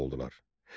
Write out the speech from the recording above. oldular.